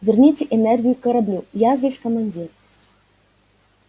верните энергию кораблю я здесь командир